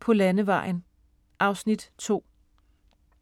På landevejen (Afs. 2)